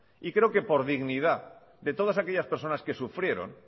y creo que por dignidad de todas aquellas personas que sufrieron